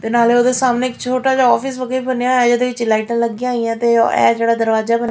ਤੇ ਨਾਲੇ ਓਹਦੇ ਸਾਹਮਣੇ ਇੱਕ ਛੋਟਾ ਜਿਹਾ ਔਫਿਸ ਵਰਗਾ ਵੀ ਬਣਿਆ ਹੋਇਆ ਹੈ ਜਿਹਦੇ ਵਿੱਚ ਲਾਈਟਾਂ ਲੱਗੀਆਂ ਹੋਈਆਂ ਤੇ ਇਹ ਜਿਹੜਾ ਦਰਵਾਜਾ ਬਨੇ--